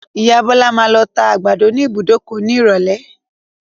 Ìya Bọ́lá máa lọ tá àgbàdo ní ìbùdókọ̀ ní ìrọ̀lé.